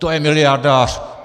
To je miliardář!